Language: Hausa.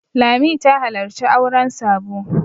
Lami ta halarci auren Sabo.